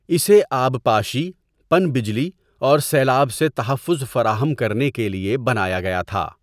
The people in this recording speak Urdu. اسے آبپاشی، پن بجلی اور سیلاب سے تحفظ فراہم کرنے کے لیے بنایا گیا تھا۔